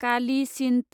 Kali Sind